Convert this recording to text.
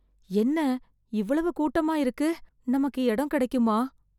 என்ன இவ்வளவு கூட்டமா இருக்கு. நமக்கு இடம் கிடைக்குமா?